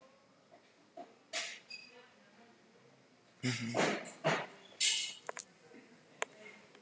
Heimspekingar hafa náð árangri í störfum tengdum hagfræði, stærðfræði, bókmenntafræði, lögfræði og sagnfræði.